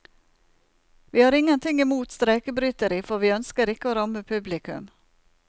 Vi har ingenting i mot streikebryteri, for vi ønsker ikke å ramme publikum.